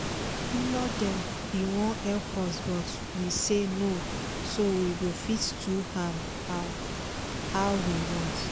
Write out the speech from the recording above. the in-law dem been wan help us but we say no so we go fit do am how we want.